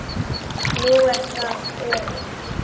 Nú er það Örið.